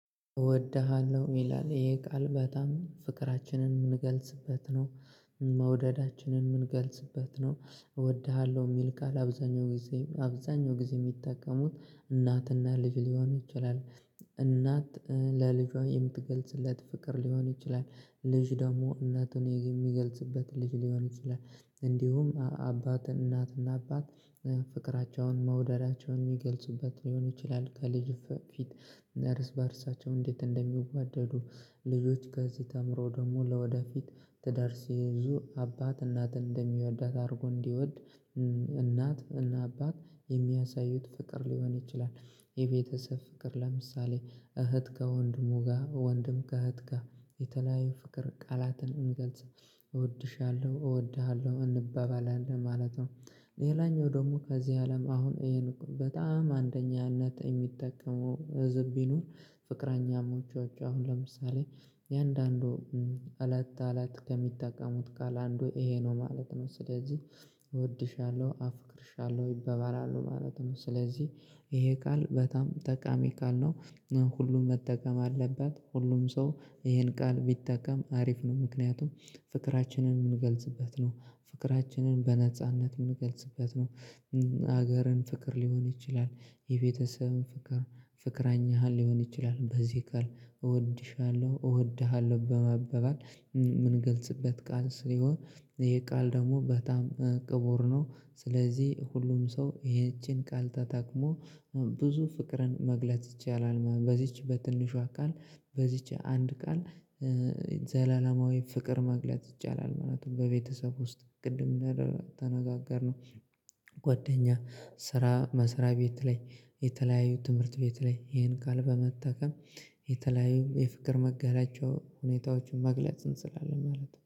እወድሃለሁ ይላል ይሄ ቃል በጣም ፍቅራችንን የምንገልጽበት ነው። መውደዳችንን የምንገልጽበት ነው እወድሃለሁ የሚል ቃል አብዛኛው ጊዜ አብዛኛው ጊዜ የሚጠቀሙት እናትና ልጅ ሊሆን ይችላል። እናት ለልጇ የምትገልጽለት ፍቅር ሊሆን ይችላል። ልጅ ደግሞ እናቱን የሚገልጽበት ልጅ ሊሆን ይችላል። እንዲሁም አባት እናትና አባት ፍቅራቸውን መውደዳቸውን የሚገልጹበት ሊሆን ይችላል። ከልጅ ፊት ርስ በርሳቸው እንዴት እንደሚዋደዱ ልጆች ከዚህ ተምረው ደግሞ ለወደፊት ትዳር ሲይዙ አባት እናትን እንደሚወዳት አድርጎ እንዲወድ። እናት እና አባት የሚያሳዩት ፍቅር ሊሆን ይችላል። የቤተሰብ ፍቅር ለምሳሌ እህት ጋር ወንድሙጋ ወንድም ጋር እህት ጋር የተለያየ ፍቅር ቃላትን እንገልጽ እወድሻለሁ እወድሃለሁ እንበበላለን ማለት ነው። ሌላኛው ደግሞ ከዚህ አለም አሁን በጣም አንደኛነት የሚጠቀሙ ህዝብ ቢኖር ፍቅረኛሞቸ አሁን ለምሳሌ የአንዳንዱ እለት እለት ከሚጠቀሙት ቃል አንዱ ይሄ ነው ማለት ነው። ስለዚህ ወድሻለሁ አፍቅርሻለሁ ይባባላሉ ማለት ነው። ስለዚህ ይሄ ቃል በጣም ጠቃሚ ቃል ነው። ሁሉም መጠቀም አለበት ሁሉም ሰው ይሄን ቃል ቢጠቀም አሪፍ ነው። ምክንያቱም ፍቅራችንን የምንገልጽበት ነው ፍቅራችንን በነጻነት የምንገልጽበት ነው። ሀገርን ፍቅር ሊሆን ይችላል። የቤተሰብን ፍቅር ፍቅረኛህን ሊሆን ይችላል በዚህ ቃል እወድሻለሁ እወድሃለሁ በመባባል ምን ገልጽበት ቃል ሲሆን። ይሀ ቃል ደግሞ በጣም ክቡር ነው። ስለዚህ ሁሉም ሰው ይህችን ቃል ተታቅሞ ብዙ ፍቅርን መግለጽ ይቻላል። በዚች በትንሿ ቃል በዚች አንድ ቃል። ዘላለማዊ ፍቅር መግለጥ ይቻላል ማለት ነው በቤተሰብ ውስጥ ቅድም እንደ ተነጋገርነው። ጓደኛ ስራ መስሪያ ቤት ላይ የተለያዩ ትምህርት ቤት ላይ ይሄን ቃል በመጠቀም የተለያዩ የፍቅር መገለጫዎች ሁኔታዎችን መግለጽ እንችላለን ማለት ነው